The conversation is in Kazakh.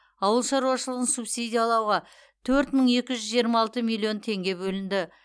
ауыл шаруашылығын субсидиялауға төрт мың екі жүз жиырма алты миллион теңге бөлінді